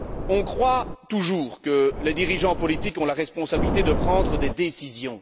On croit toujours que les dirigeants politiques ont la responsabilité de prendre des décisions.